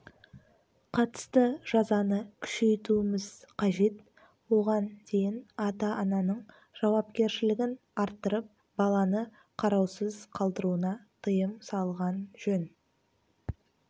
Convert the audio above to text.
қатысты жазаны күшейтуіміз қажет оған дейін ата-ананың жауапкершілігін арттырып баланы қараусыз қалдыруына тыйым салған жөн